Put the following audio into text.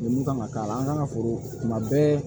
Lemuru kan ka k'a la an kan ka foro kuma bɛɛ